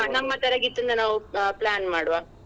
ನಮ್ಮ ತರಗತಿಯಿಂದ ನಾವು plan ಮಾಡುವ.